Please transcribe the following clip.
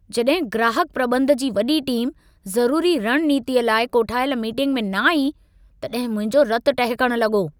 जॾहिं ग्राहक प्रॿंध जी वॾी टीमु, ज़रूरी रणनीतीअ लाइ कोठायल मीटिंग में न आई, तॾहिं मुंहिंजो रतु टहिकण लॻो।